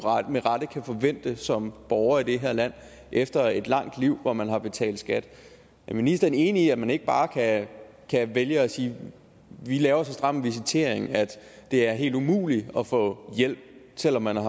med rette kan forvente som borger i det her land efter et langt liv hvor man har betalt skat er ministeren enig i at man ikke bare kan vælge at sige at vi laver så stram en visitering at det er helt umuligt at få hjælp selv om man